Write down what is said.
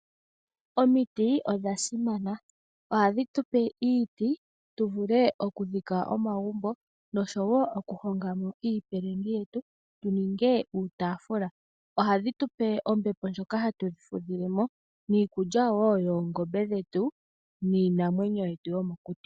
Omiti odha simana, ohadhi tupe iiti tu vule okudhika omagumbo noshowo okuhongamo iipilangi yetu tu ninge uutafula, ohadhi tupe wo ombepo ndjoka hatu fudhilemo niikulya wo yoongombe dhetu niinamweyo yetu yomokuti.